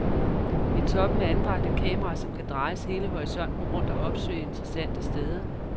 I toppen er anbragt et kamera, som kan drejes hele horisonten rundt og opsøge interessante steder.